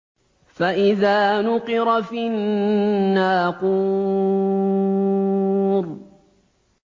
فَإِذَا نُقِرَ فِي النَّاقُورِ